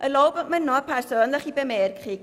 Erlauben Sie mir noch eine persönliche Bemerkung: